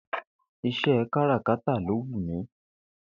Ìs̩é̩ káràkátà ló wù mí